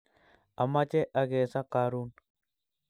Amache akeso karun